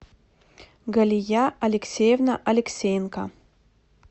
галия алексеевна алексеенко